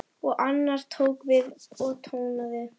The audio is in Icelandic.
Og annar tók við og tónaði